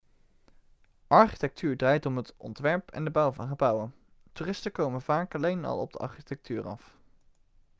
architectuur draait om het ontwerp en de bouw van gebouwen toeristen komen vaak alleen al op architectuur af